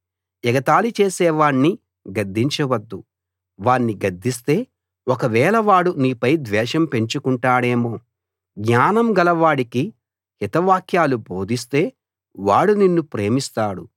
ఎగతాళి చేసేవాణ్ణి గద్దించవద్దు వాణ్ణి గద్దిస్తే ఒకవేళ వాడు నీపై ద్వేషం పెంచుకుంటాడేమో జ్ఞానం గలవాడికి హితవాక్కులు బోధిస్తే వాడు నిన్ను ప్రేమిస్తాడు